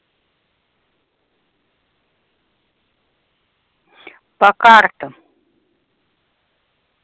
по картам